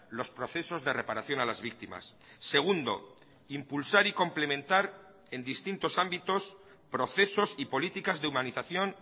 los procesos de reparación a las víctimas segundo impulsar y complementar en distintos ámbitos procesos y políticas de humanización